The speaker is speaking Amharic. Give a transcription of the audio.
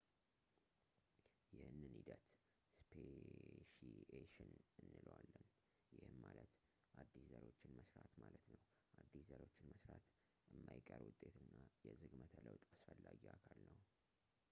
ይህንን ሂደት ስፔሺኤሽን እንለዋለን ፣ ይህም ማለት አዲስ ዘሮችን መስራት ማለት ነው። አዲስ ዘሮችን መስራት የማይቀር ውጤት እና የዝግመተ ለውጥ አስፈላጊ አካል ነው